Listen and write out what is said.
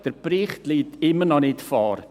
Der Bericht liegt immer noch nicht vor.